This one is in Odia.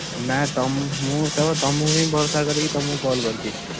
ନା ତମୁକୁ ମୁଁ କେବଳ ତମୁକୁ ହିଁ ଭରସା କରିକି ତମୁକୁ call କରିଚି।